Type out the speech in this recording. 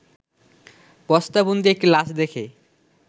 বস্তাবন্দী একটি লাশ দেখে